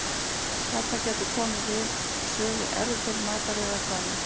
Þarna gætu komið við sögu erfðir, mataræði eða eitthvað annað.